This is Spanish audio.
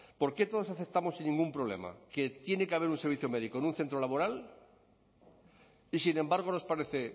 por qué todos aceptamos sin ningún problema que tiene que haber un servicio médico en un centro laboral y sin embargo nos parece